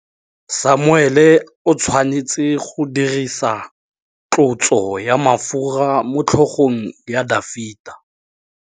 Samuele o tshwanetse go dirisa tlotsô ya mafura motlhôgong ya Dafita.